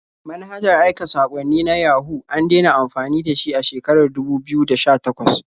Manhajar aika saƙwanni na Yahoo an dena amfani da shi a shekarar dubu biyu da sha-takwas.